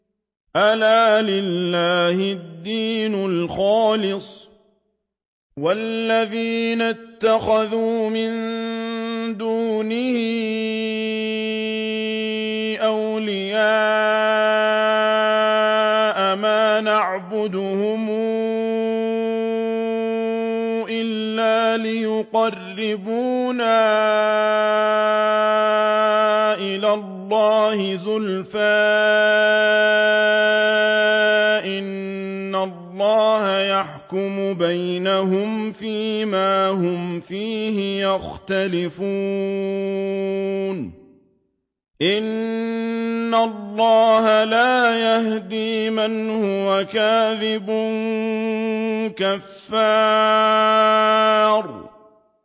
أَلَا لِلَّهِ الدِّينُ الْخَالِصُ ۚ وَالَّذِينَ اتَّخَذُوا مِن دُونِهِ أَوْلِيَاءَ مَا نَعْبُدُهُمْ إِلَّا لِيُقَرِّبُونَا إِلَى اللَّهِ زُلْفَىٰ إِنَّ اللَّهَ يَحْكُمُ بَيْنَهُمْ فِي مَا هُمْ فِيهِ يَخْتَلِفُونَ ۗ إِنَّ اللَّهَ لَا يَهْدِي مَنْ هُوَ كَاذِبٌ كَفَّارٌ